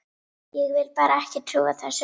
Ég vil bara ekki trúa þessu.